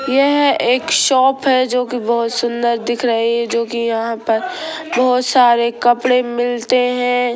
यह एक शॉप है जोकि बहुत सुंदर दिख रही है जोकि यहाँ पर बहुत सारे कपड़े मिलते हैं।